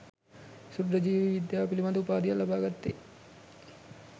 ක්ෂුද්‍ර ජීව විද්‍යාව පිළිබද උපාධියක් ලබාගත්තේ